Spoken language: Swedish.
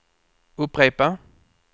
upprepa